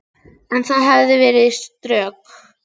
En það hefði verið skrök.